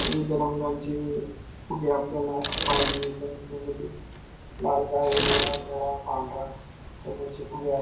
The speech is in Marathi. विविध रंगांचे फुगे आपल्याला पाहायला मिळतायत त्यामध्ये लालगा हिरवा निळा पांढरा कलर चे फुगे आहे.